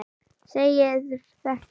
segir þetta